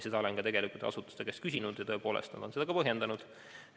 Olen seda asutuste käest küsinud ja tõepoolest nad on seda ka põhjendanud.